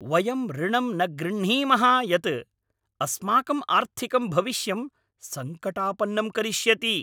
वयं ऋणम् न गृह्णीमः यत् अस्माकं आर्थिकं भविष्यं संकटापन्नं करिष्यति!